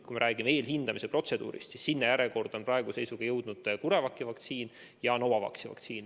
Kui räägime eelhindamise protseduurist, siis järjekorda on praeguse seisuga jõudnud ka CureVaci ja Novavaxi vaktsiin.